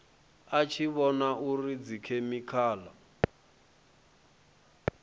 a tshi vhona uri dzikhemikhala